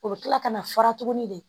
O bɛ kila ka na fara tuguni de